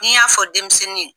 Ni n y'a fɔ denmisɛnnin ye.